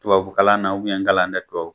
Tubabukalan n kalan dɛ